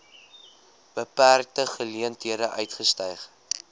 beperkte geleenthede uitgestyg